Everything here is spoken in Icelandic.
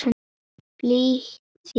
Flýt þér, vinur!